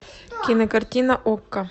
кинокартина окко